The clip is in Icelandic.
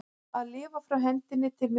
Að lifa frá hendinni til munnsins